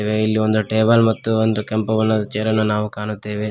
ಇಲ್ಲಿ ಒಂದು ಟೇಬಲ್ ಮತ್ತು ಒಂದು ಕೆಂಪು ಬಣ್ಣದ ಚೇರನ್ನು ನಾವು ಕಾಣುತ್ತೆವೆ.